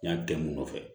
Yan kɛ mun nɔfɛ